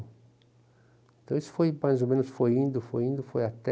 Então isso foi mais ou menos, foi indo, foi indo, foi até...